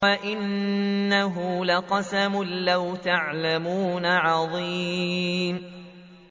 وَإِنَّهُ لَقَسَمٌ لَّوْ تَعْلَمُونَ عَظِيمٌ